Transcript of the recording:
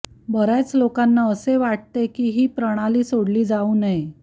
बर्याच लोकांना असे वाटते की ही प्रणाली सोडली जाऊ नये